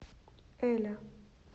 эля